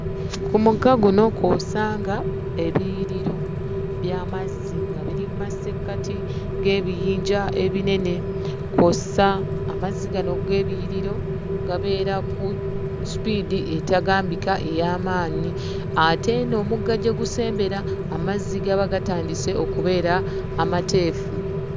Ku mugga guno kw'osanga ebiyiriro by'amazzi nga biri mu masekkati g'ebiyinja ebinene kw'ossa amazzi gano ag'ebiyiriro gabeera ku sipiidi etagambika ey'amaanyi. Ate eno omugga gye gusembera, amazzi gaba gatandise okubeera amateefu.